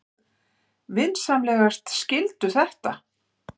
Vinsamlegast skildu þetta.